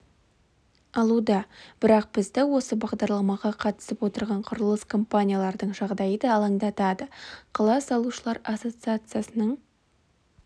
алуда бірақ бізді осы бағдарламаға қатысып отырған құрылыс компаниялардың жағдайы да алаңдатады қала салушылар ассоциациясының